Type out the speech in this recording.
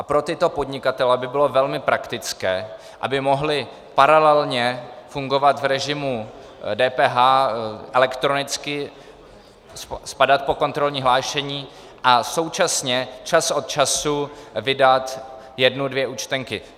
A pro tyto podnikatele by bylo velmi praktické, aby mohli paralelně fungovat v režimu DPH elektronicky, spadat pod kontrolní hlášení a současně čas od času vydat jednu dvě účtenky.